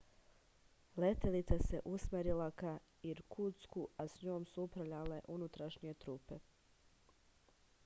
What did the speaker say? letelica se usmerila ka irkutsku a njom su upravljale unutrašnje trupe